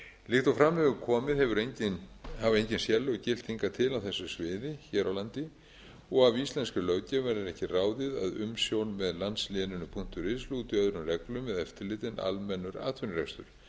laganna líkt og fram hefur komið hafa engin sérlög gilt hingað til á þessu sviði hér á landi og af íslenskri löggjöf verður ekki ráðið að umsjón með landsléninu punktur is lúti öðrum reglum eða eftirliti en almennur atvinnurekstur með